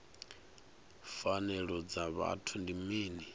pfanelo dza vhuthu ndi mini